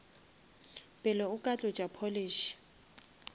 pele o ka tlotša polish